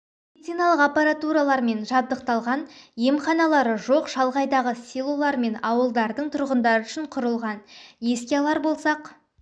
медициналық аппаратуралармен жабдықталған емханалары жоқ шалғайдағы селолар мен ауылдардың тұрғындары үшін құрылған еске алар болсақ